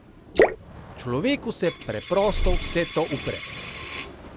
Človeku se preprosto vse to upre.